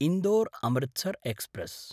इन्दोर्–अमृतसर् express